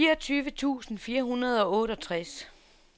fireogtyve tusind fire hundrede og otteogtres